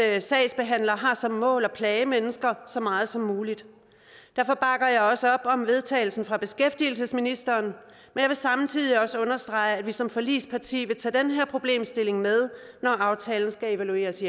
at sagsbehandlere har som mål at plage mennesker så meget som muligt derfor bakker jeg også op om vedtagelse fra beskæftigelsesministeren men vil samtidig også understrege at vi som forligsparti vil tage den her problemstilling med når aftalen skal evalueres